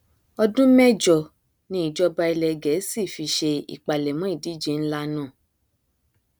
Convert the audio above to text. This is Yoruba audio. ọdún mẹjọ ni ìjọba ilẹ gẹẹsì fi ṣe ìpalẹmọ ìdíje nlá náà